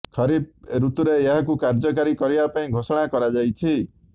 ଖରିଫ ଋତୁରେ ଏହାକୁ କାର୍ଯ୍ୟକାରୀ କରିବା ପାଇଁ ଘୋଷଣା କରାଯାଇଛି